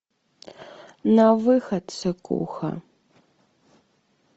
на выход ссыкуха